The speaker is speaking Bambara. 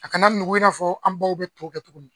A kana nugu i n'a fɔ an baw bɛ to kɛ cogo min.